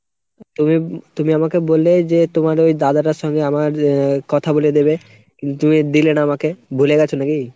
তুমি, তুমি আমাকে বললে যে তোমার ওই দাদাটার সঙ্গে আমার আহ কথা বলিয়ে দেবে। কিন্তু দিলে না আমাকে, ভুলে গেছো নাকি ?